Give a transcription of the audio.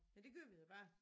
Ja det gør vi da bare